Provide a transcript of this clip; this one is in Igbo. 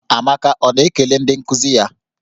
Amaka ọ na-ekele ndị nkuzi ya?